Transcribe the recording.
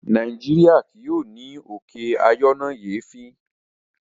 Nàìjíríà kì yóò ní òkè ayọnáyèéfín.